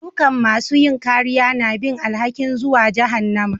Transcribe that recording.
Dukan masun yin kariya na bin alhaki'n zuwan jahannama.